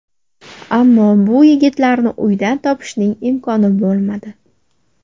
Ammo bu yigitlarni uydan topishning imkoni bo‘lmadi.